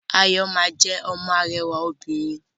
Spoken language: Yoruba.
Ayọ ma jẹ ọmọ arẹwà òbinrín.